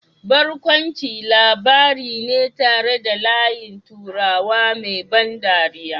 Barkwanci labari ne tare da layin turawa mai ban dariya